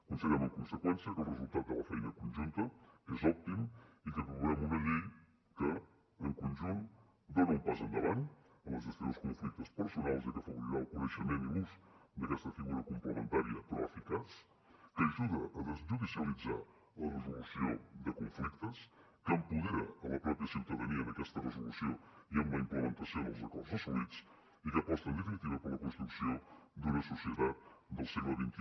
considerem en conseqüència que el resultat de la feina conjunta és òptim i que configurem una llei que en conjunt dona un pas endavant en la gestió dels conflictes personals ja que afavorirà el coneixement i l’ús d’aquesta figura complementària però eficaç que ajuda a desjudicialitzar la resolució de conflictes que empodera la mateixa ciutadania en aquesta resolució i amb la implementació dels acords assolits i que aposta en definitiva per la construcció d’una societat del segle xxi